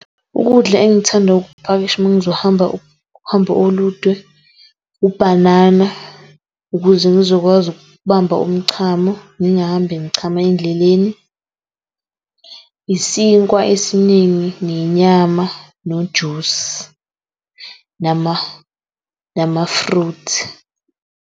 Ukudla engithanda ukupakisha uma ngizohamba uhambo olude ubhanana ukuze ngizokwazi ukubamba umchamo, ngingahambi ngichama endleleni, isinkwa esiningi nenyama nojusi namafruthi.